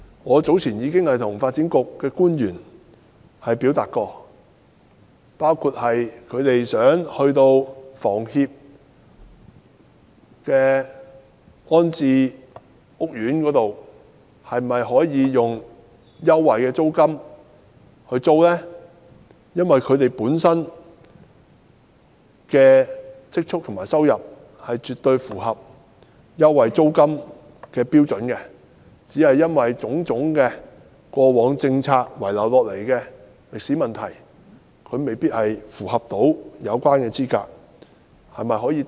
我早前曾向發展局的官員表達意見，包括居民租住香港房屋協會的安置屋苑時，政府能否提供租金優惠，因為居民的積蓄和收入絕對符合租金優惠的標準，只是過往種種政策遺留下來的問題使他們未能符合有關的資格。